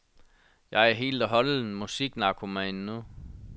Jeg er helt og holdent musiknarkoman nu.